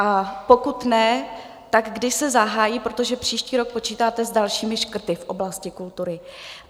A pokud ne, tak kdy se zahájí, protože příští rok počítáte s dalšími škrty v oblasti kultury.